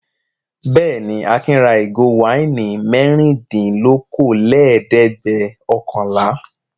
Bẹ́ẹ̀ ni, Akin ra ìgò wáìnì mẹ́rìndínlókòólẹ́ẹ̀dẹ́gbẹ̀ọ̀kànlá.